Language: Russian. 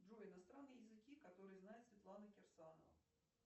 джой иностранные языки которые знает светлана кирсанова